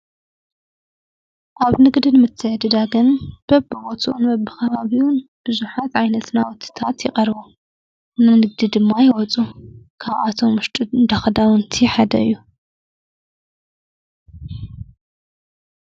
ኣብ ንግድን ምተየድዳግን በብቦቱኡን በብ ኸባብዩን ብዙኃት ኣይነስናወትታት ይቐርቦ እናንድግዲ ድማ ይወፁ ካብኣቶም ሙሽጡድ ዳኸዳውንቲይ ኃደ እዮ።